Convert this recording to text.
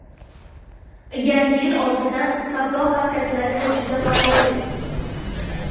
Yangi yil oldidan savdo markazlari juda g‘aroyib!